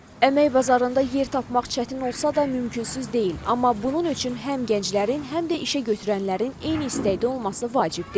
Əmək bazarında yer tapmaq çətin olsa da, mümkünsüz deyil, amma bunun üçün həm gənclərin, həm də işəgötürənlərin eyni istəkdə olması vacibdir.